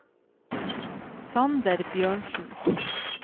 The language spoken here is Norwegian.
Sander Bjørnsen